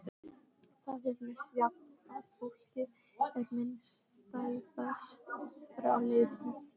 Það er misjafnt hvað fólki er minnisstæðast frá liðinni tíð.